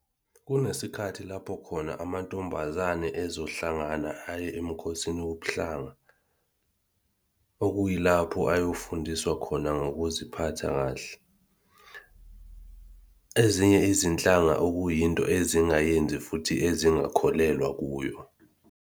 Kunesikhathi lapho khona amantombazane ezohlangana aye emikhosini wobuhlanga, okuyilapho ayofundiswa khona ngokuziphatha kahle. Ezinye izinhlanga okuyinto ezingayenzi futhi ezingakholelwa kuyo.